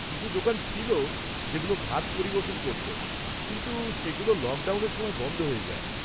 কিছু দোকান ছিল যেগুলো ভাত পরিবেশন করত, কিন্তু সেগুলো লকডাউনের সময় বন্ধ হয়ে যায়।